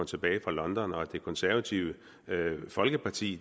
tilbage fra london og at det konservative folkeparti